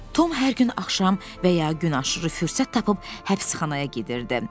Tom hər gün axşam və ya gün aşırı fürsət tapıb həbsxanaya gedirdi.